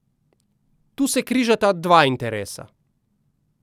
Tu se križata dva interesa.